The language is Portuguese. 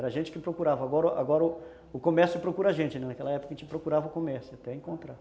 Era a gente que procurava, agora o comércio procura a gente, naquela época a gente procurava o comércio até encontrar.